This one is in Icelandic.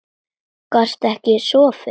Gastu ekki sofið?